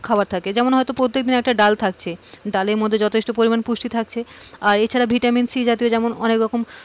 যেমন হয়তোপ্রত্যেকদিন একটা ডাল থাকছে। ডালের মধ্যে যথেষ্ট পরিমাণ পুষ্টি থাকছে আর এছাড়া ভিটামিন সি জাতীয় অনেক রকম খাবার থাকে।